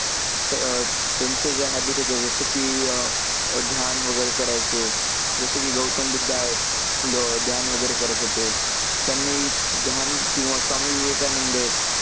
त्यांचे जे habit होते जसं की अं ध्यान वगैरे करायचे, जसं की गौतम बुद्ध आहेत. ध्यान वगैरे करत होते. त्यांनी ध्यान किंवा स्वामी विवेकानंद आहेत,